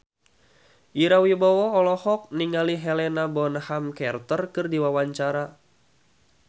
Ira Wibowo olohok ningali Helena Bonham Carter keur diwawancara